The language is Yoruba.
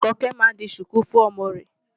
Àkànkẹ́ máa di ṣùkú fún ọmọ rẹ̀.